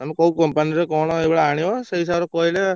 ତମେ କୋଉ company ର କଣ ଏଗୁଡା ଆଣିବ ସେଇ ହିସାବରେ କହିଲେ।